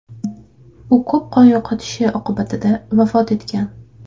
U ko‘p qon yo‘qotishi oqibatida vafot etgan.